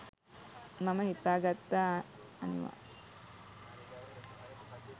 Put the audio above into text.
මම හිතා ගත්තා අනිවා